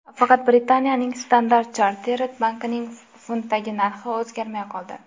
Faqat Britaniyaning Standard Chartered bankining funtdagi narxi o‘zgarmay qoldi.